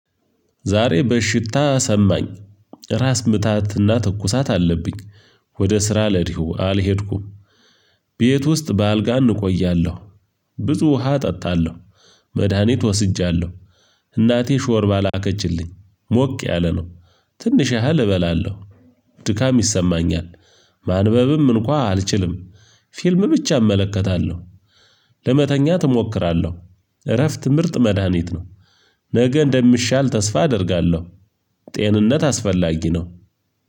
ዛሬ በሽታ ሰማኝ ራስ ምታትና ትኩሳት አለብኝ። ወደ ስራ ለዲሁ አልሄድኩም። ቤት ውስጥ በአልጋ እንቆያለሁ ብዙ ውሃ እጠጣለሁ መድሃኒት ወስጃለሁ። እናቴ ሾርባ ላከችልኝ። ሞቅ ያለ ነው ትንሽ ያህል እበላለሁ። ድካም ይሰማኛል ማንበብም እንኳ አልችልም። ፊልም ብቻ እመለከታለሁ። ለመተኛት እሞክራለሁ እረፍት ምርጥ መድሃኒት ነው። ነገ እንደምሻል ተስፋ አደርጋለሁ። ጤንነት አስፈላጊ ነው።